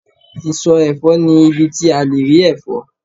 iso efo ni ibi ti a le ri efo